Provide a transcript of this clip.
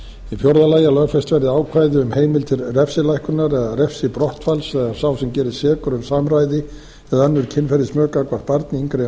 í fjórða lagi að lögfest verði ákvæði um heimild til refsilækkunar eða refsibrottfalls ef sá sem gerist sekur um samræði eða önnur kynferðismök gagnvart barni yngra